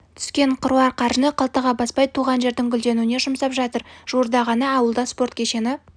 түскен қыруар қаржыны қалтаға баспай туған жердің гүлденуіне жұмсап жатыр жуырда ғана ауылда спорт кешені